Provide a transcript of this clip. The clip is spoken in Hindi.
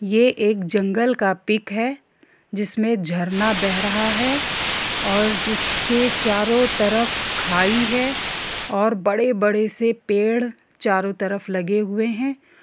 ये एक जंगल का पिक है जिसमे झरना बह रहा है और जिसके चारों तरफ खाई है और बड़े-बड़े से पेड़ चारों तरफ लगे लगे हुए है।